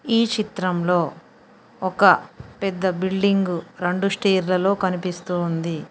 ఈ చిత్రంలో ఒక పెద్ద బిల్డింగు రెండు రెండు స్టేర్ లలో కనిపిస్తూ ఉంది.